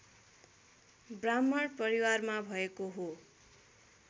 ब्राह्मण परिवारमा भएको हो